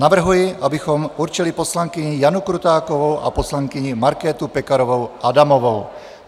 Navrhuji, abychom určili poslankyni Janu Krutákovou a poslankyni Markétu Pekarovou Adamovou.